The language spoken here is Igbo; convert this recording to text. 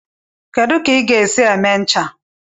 Kedu ka ị ga-esi eme ncha?